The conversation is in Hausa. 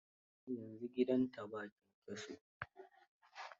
Yanzu gidanta ba kyankyaso.